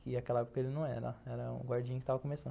Que naquela época ele não era, era um guardinha que estava começando.